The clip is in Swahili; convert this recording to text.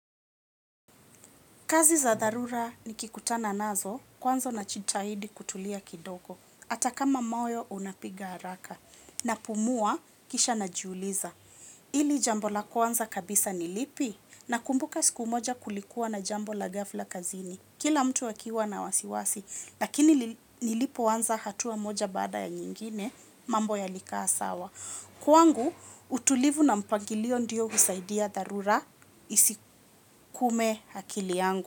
Kazi za dharura nikikutana nazo kwanza najitahidi kutulia kidogo. Ata kama moyo unapiga haraka. Napumua kisha najuuliza. Ili jambo la kwanza kabisa ni lipi nakumbuka siku moja kulikuwa na jambo la ghafla kazini. Kila mtu akiwa na wasiwasi. Lakini nilipoanza hatua moja baada ya nyingine mambo yalikaa sawa. Kwangu utulivu na mpangilio ndio husaidia dharura isikume akili yangu.